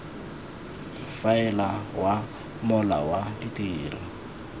faela wa mola wa ditiro